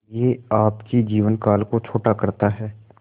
यह आपके जीवन काल को छोटा करता है